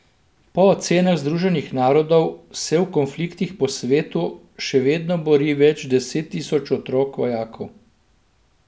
Po ocenah Združenih narodov se v konfliktih po svetu še vedno bori več deset tisoč otrok vojakov.